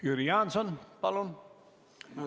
Jüri Jaanson, palun!